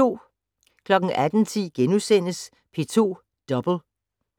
18:10: P2 Double *